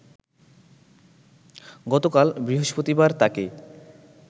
গতকাল বৃহস্পতিবার তাকে